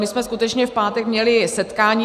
My jsme skutečně v pátek měli setkání.